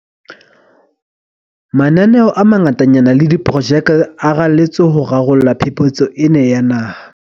Mananeo a mangatanyana le diprojeke a raletswe ho rarolla phephetso ena ya naha.